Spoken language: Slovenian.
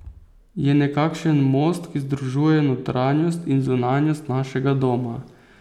Je nekakšen most, ki združuje notranjost in zunanjost našega doma.